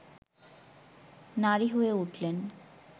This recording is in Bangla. নারী হয়ে উঠলেন